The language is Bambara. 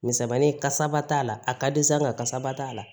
Misɛnmani kasaba t'a la a ka di sa nga kasaba t'a la